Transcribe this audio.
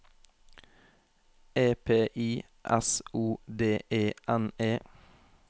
E P I S O D E N E